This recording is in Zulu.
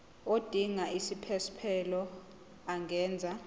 odinga isiphesphelo angenza